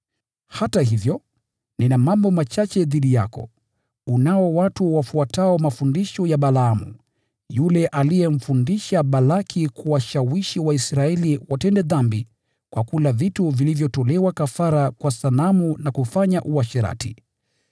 “Hata hivyo, nina mambo machache dhidi yako: Unao watu wafuatao mafundisho ya Balaamu, yule aliyemfundisha Balaki kuwashawishi Waisraeli watende dhambi kwa kula vitu vilivyotolewa kafara kwa sanamu na kufanya uasherati.